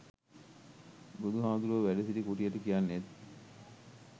බුදු හාමුදුරුවො වැඩසිටි කුටියට කියන්නෙත්